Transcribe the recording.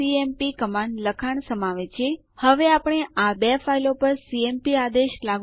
સારાંશ માટે આપણે શીખ્યા નવું યુઝર બનાવવા માટે એડ્યુઝર આદેશ